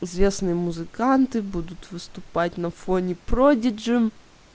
известные музыканты будут выступать на фоне продиджи